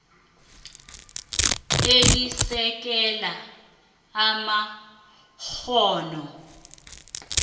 elisekela amakghono